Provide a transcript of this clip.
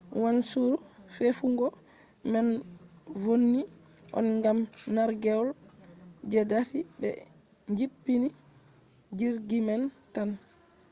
wanchuru tefugo man vonni on gam nargewol je dasi be jippini jirgi man tan